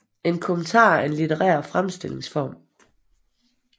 En kommentar er en litterær fremstillingsform